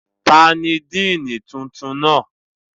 Tani Diini tuntun tuntun na?